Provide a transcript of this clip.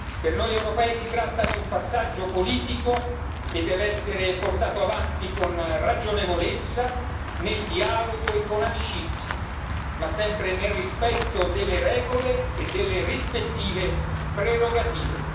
Per noi europei si tratta di un passaggio politico che deve essere portato avanti con ragionevolezza, nel dialogo e con amicizia ma sempre nel rispetto delle regole e delle rispettive prerogative.